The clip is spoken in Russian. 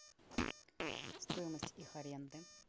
стоимость их аренды